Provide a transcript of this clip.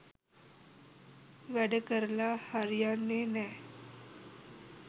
වැඩ කරලා හරියන්නේ නැ.